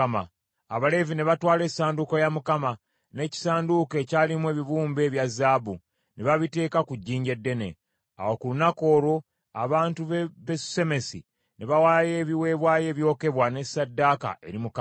Abaleevi ne batwala essanduuko ya Mukama , n’ekisanduuko ekyalimu ebibumbe ebya zaabu, ne babiteeka ku jjinja eddene. Awo ku lunaku olwo abantu b’e Besusemesi ne bawaayo ebiweebwayo ebyokebwa ne ssaddaaka eri Mukama .